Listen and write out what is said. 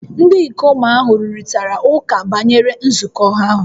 Ndị ikom ahụ rụrịtara ụka banyere nzukọ ahụ